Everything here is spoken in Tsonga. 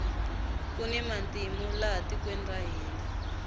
kuni matimu laha tikweni ra hina